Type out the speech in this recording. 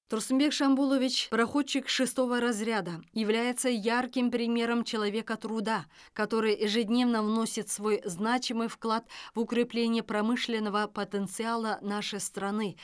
турсынбек шамбулович проходчик шестого разряда является ярким примером человека труда который ежедневно вносит свой значимый вклад в укрепление промышленного потенциала нашей страны